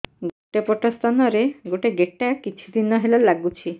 ଗୋଟେ ପଟ ସ୍ତନ ରେ ଗୋଟେ ଗେଟା କିଛି ଦିନ ହେଲା ଲାଗୁଛି